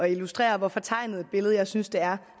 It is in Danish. illustrere hvor fortegnet et billede jeg synes det er